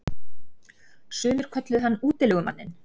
Sumir kölluðu hann útilegumanninn.